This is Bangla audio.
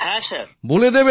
হ্যাঁ স্যার